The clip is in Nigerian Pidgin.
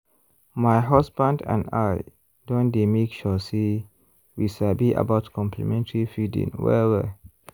my husband and i don dey make sure say we sabi about complementary feeding well-well.